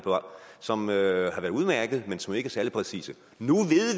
som har været udmærkede men som ikke er særlig præcise nu